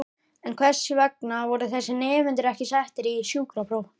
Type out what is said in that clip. En hvers vegna voru þessir nemendur ekki settir í sjúkrapróf?